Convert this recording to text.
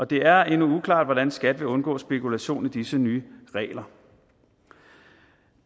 det er endnu uklart hvordan skat vil undgå spekulation i disse nye regler